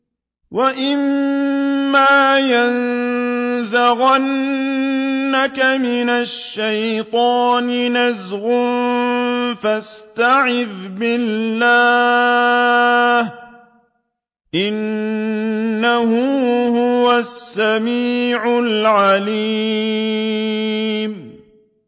وَإِمَّا يَنزَغَنَّكَ مِنَ الشَّيْطَانِ نَزْغٌ فَاسْتَعِذْ بِاللَّهِ ۖ إِنَّهُ هُوَ السَّمِيعُ الْعَلِيمُ